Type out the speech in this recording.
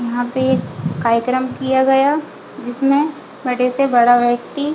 यहाँ पे एक कार्यक्रम किया गया जिसमे बड़े से बड़ा व्यक्ति --